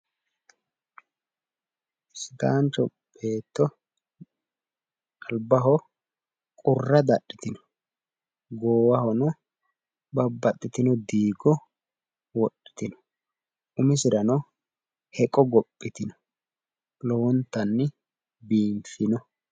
Sidaancho beetto albaho qurra dadhitino. goowahono babbaxitino diigo wodhitino. umiserano heqo gophitino lowontanni biiffino.